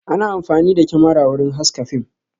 Ana amfani da kyamara wurin haske fim